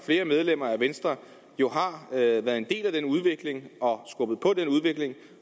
flere medlemmer af venstre jo har været en del af den udvikling og skubbet på den udvikling